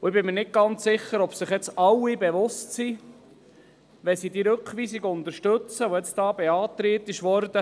Ich bin nicht ganz sicher, ob sich wirklich alle bewusst sind, was sie damit auslösen, wenn sie die beantragte Rückweisung unterstützen.